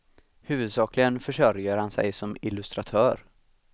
Huvudsakligen försörjer han sig som illustratör.